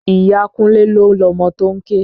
Ìyá Kúnlé ló lọmọ tó ń ké